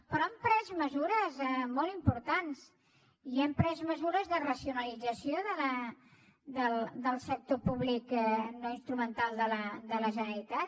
però hem pres mesures molt importants i hem pres mesures de racionalització del sector públic no instrumental de la generalitat